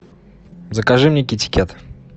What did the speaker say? закажи мне китикет